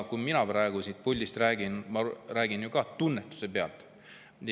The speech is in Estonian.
Kui mina praegu siit puldist räägin, siis ma räägin ju ka tunnetuse pealt.